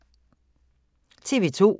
TV 2